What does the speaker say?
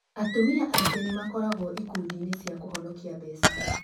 Atumia aingĩ nĩ makoragũo ikundi-inĩ cia kũhonokia mbeca.